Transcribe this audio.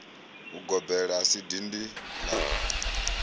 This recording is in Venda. ugobela a si dindi la